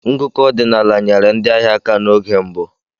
Ngụkọ ọdinaala nyere ndị ahịa aka n'oge mbụ.